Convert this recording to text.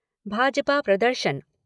भाजपा प्रदर्शन